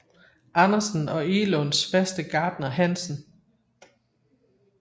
Andersen og Egelunds faste gartner Hansen